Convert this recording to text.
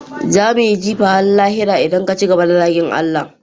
za mu yi jifa har lahira idan ka ci gaba da zagin Allah